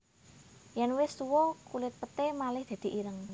Yèn wis tuwa kulit peté malih dadi ireng